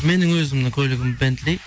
менің өзімнің көлігім бентли